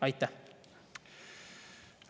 Aitäh!